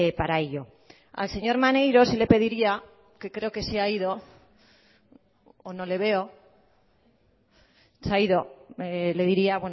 para ello al señor maneiro sí le pediría que creo que se ha ido o no le veo se ha ido le diría